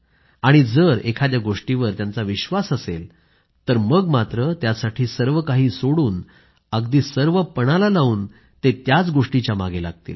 आणि जर एखाद्या गोष्टीवर त्यांचा विश्वास असेल तर मग मात्र त्यासाठी सर्व काही सोडून अगदी सर्व पणाला लावून त्याच गोष्टीच्या मागे लागतील